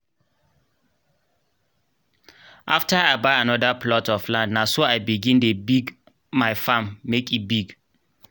afta i buy anoda plot of land naso i begin dey big my farm make e big